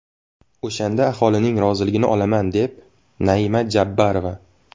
O‘shanda aholining roziligini olaman”, dedi Naima Jabborova.